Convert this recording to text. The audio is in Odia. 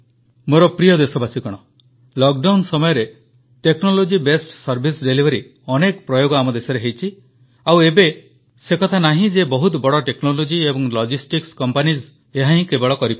ମୋର ପ୍ରି୍ରୟ ଦେଶବାସୀଗଣ ଲକ୍ଡାଉନ ସମୟରେ ଟେକ୍ନୋଲୋଜିବେସ ସର୍ଭାଇସ୍ ଡିଲିଭରି ଅନେକ ପ୍ରୟୋଗ ଆମ ଦେଶରେ ହୋଇଛି ଓ ଏବେ ଆଉ ସେକଥା ନାହିଁ ଯେ ବହୁତ ବଡ଼ ଟେକ୍ନୋଲୋଜି ଏବଂ ଲଜିଷ୍ଟିକ୍ସ କମ୍ପାନିଜ୍ ହିଁ ଏହା କରିପାରିବେ